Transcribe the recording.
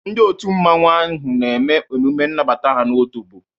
Ndi otu mmanwu ahu na eme emume nnabata ha n' otobo.